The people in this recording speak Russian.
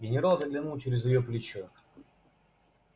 генерал заглянул через её плечо